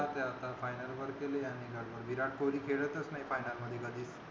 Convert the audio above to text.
जाऊदे आता final वर गेली आणि विराट कोहली खेळतच नाही final मध्ये कधीच